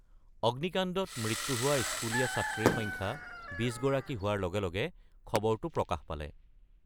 অগ্নিকাণ্ডত মৃত্যু হোৱা স্কুলীয়া ছাত্ৰীৰ সংখ্যা ২০ গৰাকী হোৱাৰ লগে লগে খবৰটো প্ৰকাশ পালে।